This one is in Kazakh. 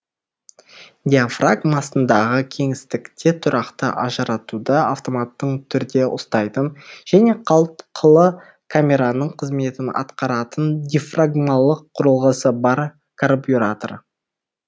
диафрагма астындағы кеңістікте тұрақты ажыратуды автоматтың түрде ұстайтын және қалтқылы камераның қызметін атқаратын дифрагмалық құрылғысы бар карбюратор